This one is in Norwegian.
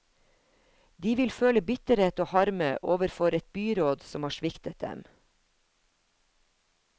De vil føle bitterhet og harme overfor et byråd som har sviktet dem.